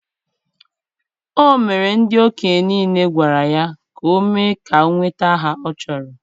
o mere ndị okenye niile gwara ya ka o mee ka o nweta aha ọ chọrọ.